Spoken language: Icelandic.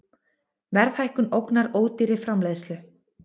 Verðhækkun ógnar ódýrri framleiðslu